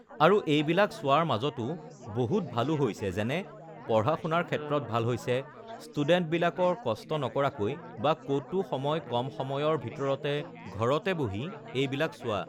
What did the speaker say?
আৰু এইবিলাক চোৱাৰ মাজতো বহুত ভালো হৈছে যেনে পঢ়া-শুনাৰ ক্ষেত্ৰত ভাল হৈছে, ষ্টুডেন্টবিলাকৰ কষ্ট নকৰাকৈ বা ক'তো সময় কম সময়ৰ ভিতৰতে ঘৰতে বহি এইবিলাক চোৱা